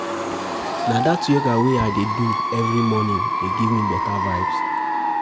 Na dat yoga wey I dey do every morning dey give me beta vibes.